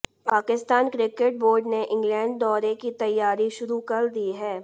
Pakistan cricket board ने England दौरे की तैयारी शुरु कर दी है